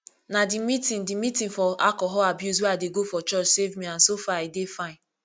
na the meeting the meeting for alcohol abuse wey i dey go for church save me and so far i dey fine